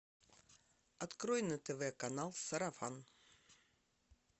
открой на тв канал сарафан